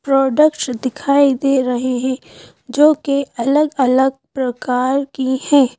Products दिखाई दे रहे हैं जो कि अलग-अलग प्रकार की हैं।